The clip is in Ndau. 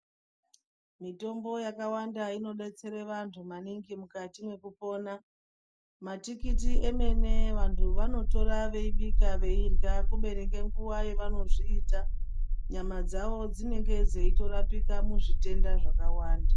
Mitombo yakawanda inodetsera vantu maningi mukati mwekupona matikiti emene vantu vanotora veibika veirya kubeni ngenguwa yavanozviita Nyama dzawo dzinenge dzeirapika muzvitenda zvakawanda.